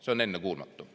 See on ennekuulmatu.